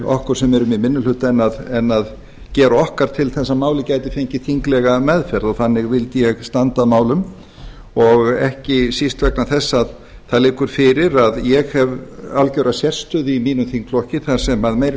okkur sem erum í minni hluta en að gera okkar til þess að málið gæti fengið þinglega meðferð þannig vil ég standa að málum og ekki síst vegna þess að það liggur fyrir að ég hef algjöra sérstöðu í mínum þingflokki þar sem meiri